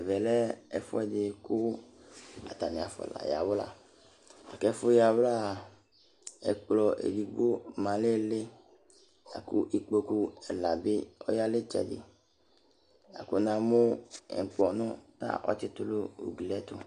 Ɛmɛ lɛ ɛfuɛdi ku atani afɔ n'ayawla, la ku ɛfu yawlá ɛkplɔ edigbo ma n' ĩli, la ku ikpoku ɛla bi ɔya n'itsɛdi, la ku namu ɛkplɔ nu, ɔtsitù n'ugli ɛtu